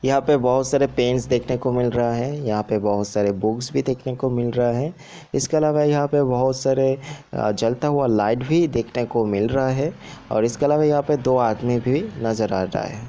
यहाँ पे बहुत सारे पेन्स देखने को मिल रहा है यहाँ पे बहुत सारे बुक्स भी देखने को मिल रहा है इसके अलावा यहाँ पे बहुत सारे जलता हुआ लाइट भी देखने को मिल रहा है और इसके अलावा यहाँ पे दो आदमी भी नज़र आ रहा है।